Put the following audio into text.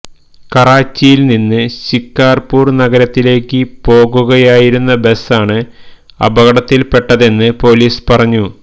കറാച്ചിയില് നിന്ന് ശിക്കാര്പൂര് നഗരത്തിലേക്ക് പോകുകയായിരുന്നു ബസാണ് അപകടത്തില്പ്പെട്ടതെന്ന് പോലീസ് പറഞ്ഞു